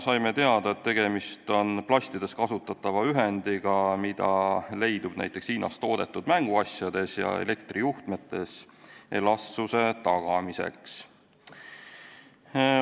Saime teada, et tegemist on plastides kasutatava ühendiga, mida leidub näiteks Hiinas toodetud mänguasjades ja elektrijuhtmetes elastsuse tagamiseks.